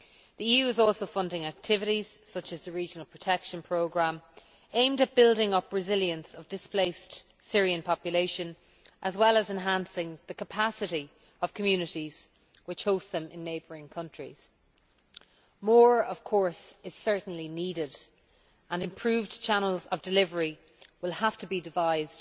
The EU is also funding activities, such as the Regional Protection Programme, aimed at building up the resilience of displaced Syrian people as well as enhancing the capacity of communities which host them in neighbouring countries. More, of course, is certainly needed, and improved channels of delivery will have to be devised,